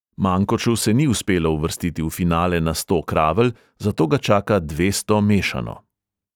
Mankoču se ni uspelo uvrstiti v finale na sto kravl, zato ga čaka dvesto mešano.